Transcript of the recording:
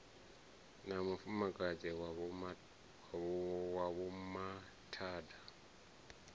na mufumakadzi wa vho mathada